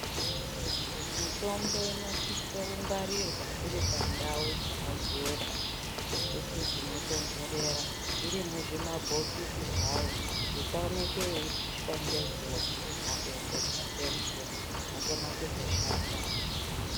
Mitombo ino sise kungwarirwa iri pa ndau dzaka jeka dzekuti dzino tondorera iri muzvima bhokisi zvayo kuti isa oneke yeipishwa ne zuva kana kuenderwa nge mvura yokona kuzo shanda.